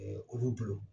olu bolo